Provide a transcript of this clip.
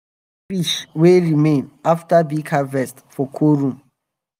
dem dey keep fish wey remain after big harvest for cold room.